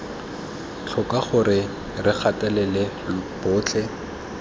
tlhoko gore re gatelela botlhe